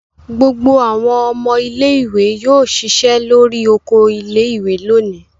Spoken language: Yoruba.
Gbogbo àwọn ọmọ ilé-ìwé yóò ṣiṣẹ́ lórí oko ilé-ìwé lónìí.